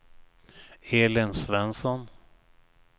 Elin Svensson